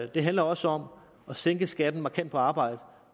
det handler også om at sænke skatten markant på arbejde